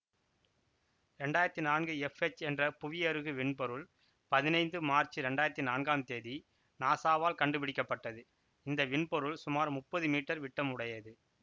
இரண்டாயிரத்தி நான்கு எஃப்எச் என்ற புவியருகு விண்பொருள் பதினைந்து மார்ச் இரண்டாயிரத்தி நான்காம் தேதி நாசாவால் கண்டுபிடிக்க பட்டது இந்த விண்பொருள் சுமார் முப்பது மீட்டர் விட்டம் உடையது